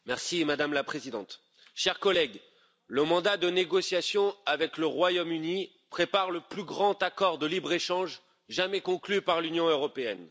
Madame la Présidente, chers collègues, le mandat de négociation avec le Royaume Uni prépare le plus grand accord de libre échange jamais conclu par l'Union européenne.